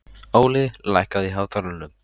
Óli, lækkaðu í hátalaranum.